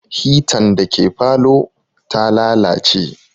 Hitan da ke falow ta lalace